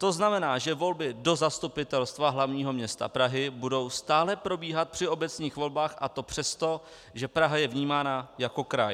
To znamená, že volby do Zastupitelstva hlavního města Prahy budou stále probíhat při obecních volbách, a to přesto, že Praha je vnímána jako kraj.